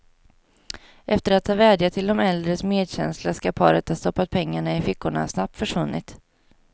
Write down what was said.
Efter att ha vädjat till de äldres medkänsla skall paret ha stoppat pengarna i fickorna och snabbt försvunnit.